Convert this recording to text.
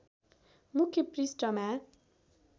मुख्य पृष्ठमा